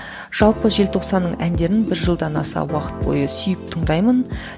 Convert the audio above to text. жалпы желтоқсанның әндерін бір жылдан аса уақыт бойы сүйіп тыңдаймын